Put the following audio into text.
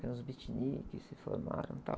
Eram os beatniks se formaram e tal.